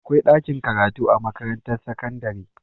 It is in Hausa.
Akwai ɗakin karatu a makarantar sakandare